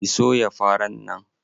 Ki soya faran nan!